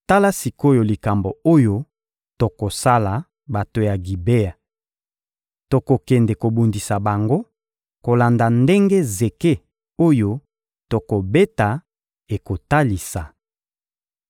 Tala sik’oyo likambo oyo tokosala bato ya Gibea: Tokokende kobundisa bango kolanda ndenge zeke oyo tokobeta ekotalisa.